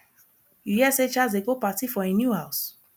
you hear say charles dey do party for im new house